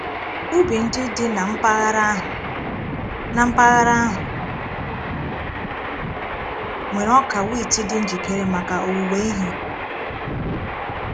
Ubi ndị dị na mpaghara ahụ na mpaghara ahụ nwere ọka wit dị njikere maka owuwe ihe.